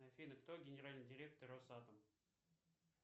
афина кто генеральный директор росатом